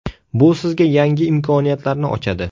Bu sizga yangi imkoniyatlarni ochadi.